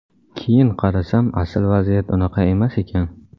Keyin qarasam asil vaziyat unaqa emas ekan.